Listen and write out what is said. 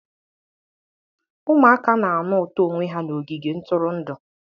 Ụmụaka na-anụ ụtọ onwe ha n'ogige ntụrụndụ